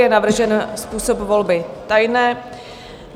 Je navržen způsob volby tajné.